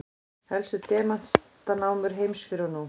helstu demantanámur heims fyrr og nú